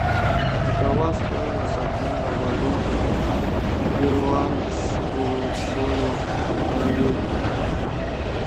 какова стоимость обмена валюты перуанского соля в норвегии